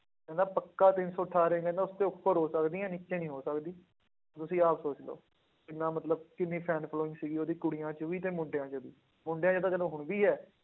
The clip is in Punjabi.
ਕਹਿੰਦਾ ਪੱਕਾ ਤਿੰਨ ਸੌ ਅਠਾਰਾਂ ਕਹਿੰਦਾ ਉਸਦੇ ਉੱਪਰ ਹੋ ਸਕਦੀਆਂ ਨੀਚੇ ਨੀ ਹੋ ਸਕਦੀ, ਤੁਸੀਂ ਆਪ ਸੋਚ ਲਓ ਕਿੰਨਾ ਮਤਲਬ ਕਿੰਨੀ fan following ਸੀਗੀ ਉਹਦੀ ਕੁੜੀਆਂ 'ਚ ਵੀ ਤੇ ਮੁੰਡਿਆਂ 'ਚ ਵੀ, ਮੁੰਡਿਆਂ 'ਚ ਤਾਂ ਚਲੋ ਹੁਣ ਵੀ ਹੈ।